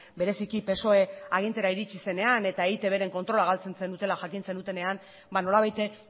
bereziki psoe agintera iritsi zenean eta eitbren kontrola galtzen zenutela jakin zenutenean ba nolabait